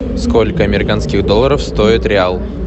сколько американских долларов стоит реал